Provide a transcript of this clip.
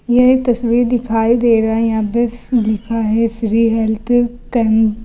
यह एक तस्वीर दिखाई दे रहा है यहां पे लिखा है फ्री हेल्थ कैम।